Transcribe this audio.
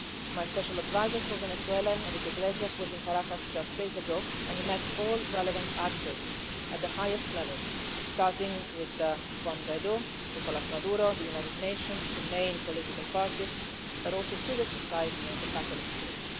My Special Adviser for Venezuela, Enrique Iglesias, was in Caracas just days ago, and he met all relevant actors at the highest level, starting with Juan Guaidó, Nicolás Maduro, the United Nations, the main political parties, but also civil society and the Catholic Church.